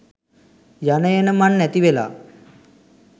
යන එන මං නැතිවෙලා